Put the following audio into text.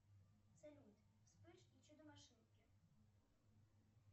салют вспыш и чудо машинки